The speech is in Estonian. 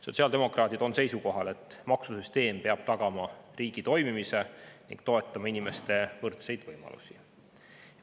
Sotsiaaldemokraadid on seisukohal, et maksusüsteem peab tagama riigi toimimise ning toetama inimeste võrdseid võimalusi.